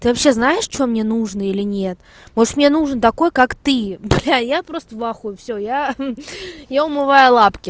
ты вообще знаешь что мне нужна или нет может мне нужен такой как ты бля я просто в ахуе всё я ха-ха я умываю лапки